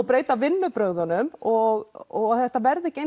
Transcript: breytum vinnubrögðunum og og að þetta verði ekki